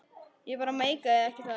Ég bara meikaði ekki að.